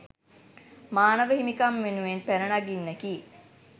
මානව හිමිකම් වෙනුවෙන් පැන නගින්නකි